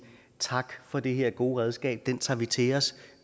tak for det her gode redskab det tager vi til os